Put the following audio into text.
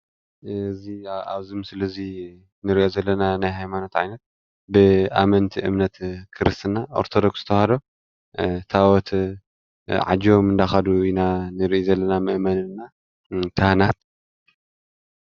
እዚ ኣብዚ ምስሊ እንሬኦ ዘለና ናይ ሃይማኖታ ዓይነት ብኣመንቲይ እምነት ክርስትና ኦርቶዶኩስ ተዋህዶ ታወት ዓጁቦም እናከዱ ኢና እንሬእ ዘለና እና መእመናን እና ካሃናት እዩ።